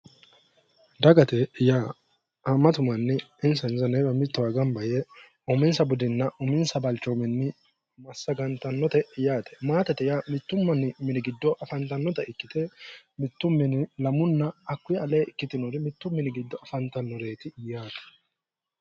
Dagate yaa haammatu manni insano mittowa gamba yee uminsa budinna uminsa balchoominni massagantannote yaate. Maatete yaa mittu manni mini giddo afantannota ikkite mittu mini lamunna hakkuyi aleenni ikkitinori mittu mini giddo afantannoreeti yaaate.